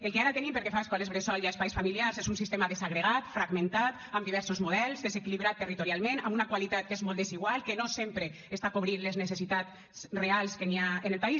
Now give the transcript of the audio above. el que ara tenim pel que fa a escoles bressol i a espais familiars és un sistema desagregat fragmentat amb diversos models desequilibrat territorialment amb una qualitat que és molt desigual que no sempre està cobrint les necessitats reals que hi ha en el país